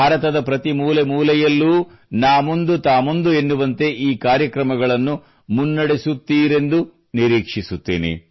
ಭಾರತದ ಪ್ರತಿ ಮೂಲೆಮೂಲೆಯಲ್ಲೂ ನಾ ಮುಂದು ತಾ ಮುಂದು ಎನ್ನುವಂತೆ ಈ ಕಾರ್ಯಕ್ರಮಗಳನ್ನು ಮುನ್ನಡೆಸುತ್ತೀರಿ ಎಂದು ನಿರೀಕ್ಷಿಸುತ್ತೇನೆ